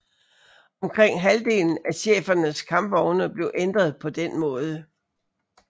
Omkring halvdelen af chefernes kampvogne blev ændret på den måde